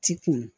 Ti kun